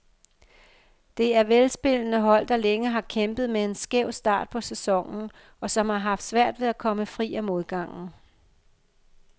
Det er velspillende hold, der længe har kæmpet med en skæv start på sæsonen, og som har haft svært ved at komme fri af modgangen.